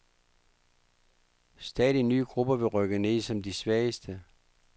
Stadig nye grupper vil rykke ned som de svageste.